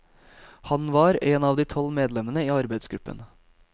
Han var en av de tolv medlemmene i arbeidsgruppen.